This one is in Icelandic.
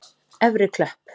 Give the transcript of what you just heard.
Efri Klöpp